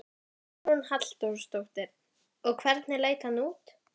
Hugrún Halldórsdóttir: Og hvernig leit hann út?